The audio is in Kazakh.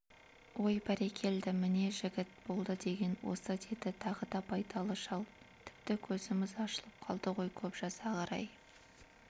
ой бәрекелді міне жігіт болды деген осы деді тағы да байдалы шал тіпті көзіміз ашылып қалды ғой көп жасағыр-ай